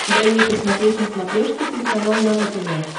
дай мне посмотреть на смотрешке телеканал нано тв